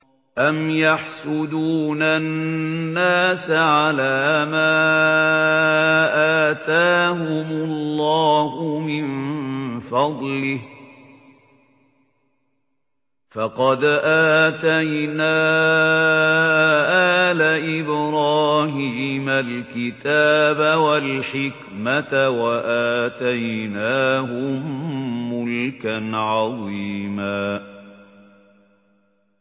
أَمْ يَحْسُدُونَ النَّاسَ عَلَىٰ مَا آتَاهُمُ اللَّهُ مِن فَضْلِهِ ۖ فَقَدْ آتَيْنَا آلَ إِبْرَاهِيمَ الْكِتَابَ وَالْحِكْمَةَ وَآتَيْنَاهُم مُّلْكًا عَظِيمًا